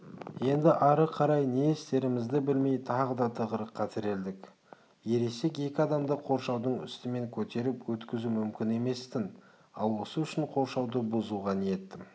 енді ары қарай не істерімізді білмей тағы да тығырыққа тірелдік ересек екі адамды қоршаудың үстімен көтеріп өткізу мүмкін емес-тін ал осы үшін қоршауды бұзуға ниетім